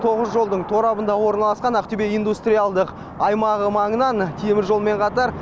тоғыз жолдың торабында орналасқан ақтөбе индустриялдық аймағы маңынан темір жолмен қатар